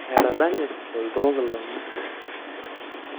Etadanye oltoo kilome.